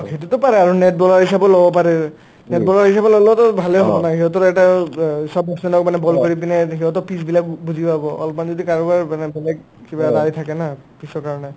সেটোতো পাৰে আৰু net bowler হিচাপে ল'লেওটো ভালে হয় সিহতৰ এটা অ অ চব মানে ball কৰি পিনে সিহতৰ pitch বিলাক বুজি পাব অলমান যদি কাৰোবাৰ মানে বেলেগ কিবা rai থাকে না পিছৰ কাৰণে